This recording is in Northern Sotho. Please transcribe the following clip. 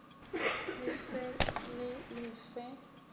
le fe le le fe